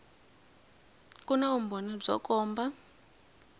ku na vumbhoni byo komba